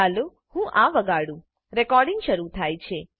ચાલો હું આં વગાડું રેકોર્ડીંગ શરુ થાય છે